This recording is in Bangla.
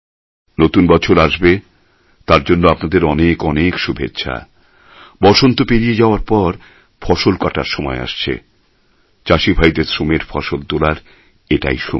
নতুন বছর আসবে তার জন্য আপনাদের অনেক অনেক শুভেচ্ছা বসন্ত পেরিয়ে যাওয়ার পর ফসল কাটার সময় আসছে চাষী ভাইদের শ্রমের ফসল তোলার এটাই সময়